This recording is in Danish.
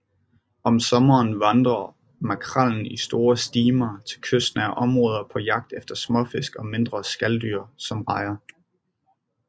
Om sommeren vandrer makrellen i store stimer til kystnære områder på jagt efter småfisk og mindre skaldyr som rejer